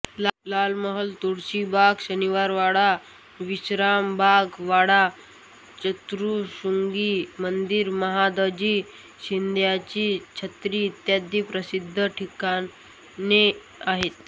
लाल महाल तुळशीबाग शनिवारवाडा विश्रामबाग वाडा चतुशृंगी मंदिर महादजी शिंद्याची छत्री इत्यादी प्रसिद्ध ठिकाणे आहेत